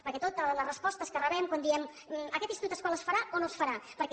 perquè totes les respostes que rebem quan diem aquest institut escola es farà o no es farà perquè